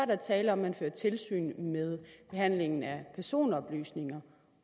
der tale om at man fører tilsyn med behandlingen af personoplysninger